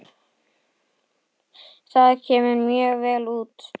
Það kemur mjög vel út.